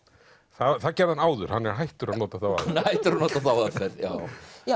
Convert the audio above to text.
það gerði hann áður hann er hættur að nota þá aðferð er hættur að nota þá aðferð já